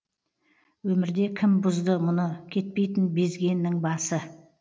өмірде кім бұзды мұны кетпейтін безгеннің басы